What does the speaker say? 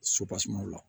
la